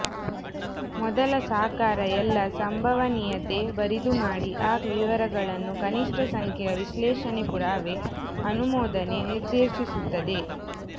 ಮೊದಲ ಸಾಕಾರ ಎಲ್ಲಾ ಸಂಭವನೀಯತೆ ಬರಿದುಮಾಡಿ ಆ ವಿವರಗಳನ್ನು ಕನಿಷ್ಠ ಸಂಖ್ಯೆಯ ವಿಶ್ಲೇಷಣೆ ಪುರಾವೆ ಅನುಮೋದನೆ ನಿರ್ದೇಶಿಸುತ್ತದೆ